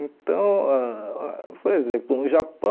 Então, ãh por exemplo, no Japão,